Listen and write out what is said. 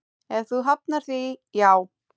Ef þú hafnar því, já.